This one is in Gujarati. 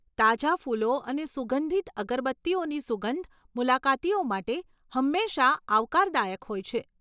તાજા ફૂલો અને સુગંધિત અગરબત્તીઓની સુગંધ મુલાકાતીઓ માટે હંમેશા આવકારદાયક હોય છે.